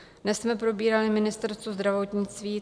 Dnes jsme probírali Ministerstvo zdravotnictví.